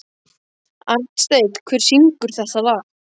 Arnsteinn, hver syngur þetta lag?